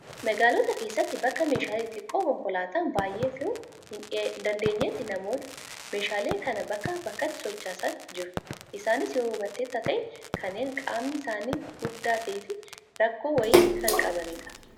Magaalota keessatti bakka meeshaalee xixiqqoo konkolaataan baay'ee fe'uu hin dandeenyetti namoonni meeshaalee kana bakkaa bakkatti sochoosan jiru. Isaanis yoo hubatteetta ta'e kanneen qaamni isaanii guddaa ta'ee fi rakkoo wayii kan qabanidha.